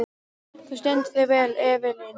Þú stendur þig vel, Evelyn!